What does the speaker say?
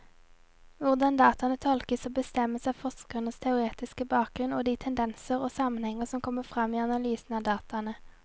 Hvordan dataene tolkes, bestemmes av forskerens teoretiske bakgrunnen og de tendenser og sammenhenger som kommer frem i analysen av dataene.